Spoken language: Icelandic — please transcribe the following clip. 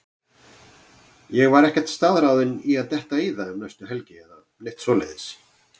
Ég var ekkert staðráðinn í að detta í það um næstu helgi eða neitt svoleiðis.